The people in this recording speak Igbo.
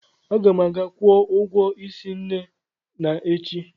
Aga m aga kwụọ ụgwọ ísí Nne na echi.